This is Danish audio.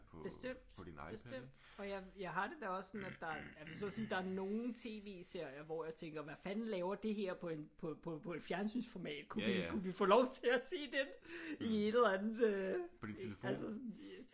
Bestemt. Bestemt. Og jeg jeg har det da også sådan at der jeg vil så sige at der er nogle tv-serier hvor jeg tænker hvad fanden laver det her på en på på et fjernsynsformat? Kunne vi ikke kunne vi få lov til at se den i et eller andet altså sådan?